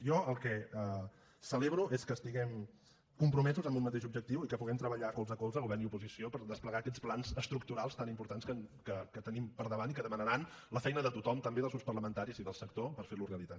jo el que celebro és que estiguem compromesos en un mateix objectiu i que puguem treballar colze a colze govern i oposició per desplegar aquests plans estructurals tan importants que tenim per davant i que demanaran la feina de tothom també dels grups parlamentaris i del sector per fer los realitat